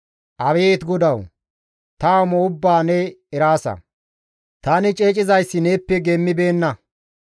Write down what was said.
Abeet Godawu! Ta amo ubbaa ne eraasa; tani ceecizayssi neeppe geemmibeenna.